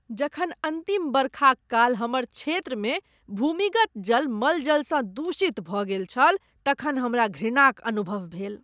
जखन अन्तिम बरखाक काल हमर क्षेत्रमे भूमिगत जल मलजलसँ दूषित भऽ गेल छल तखन हमरा घृणा क अनुभव भेल।